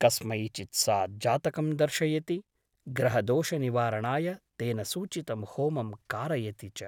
कस्मैचित् सा जातकं दर्शयति , ग्रहदोषनिवारणाय तेन सूचितं होमं कारयति च ।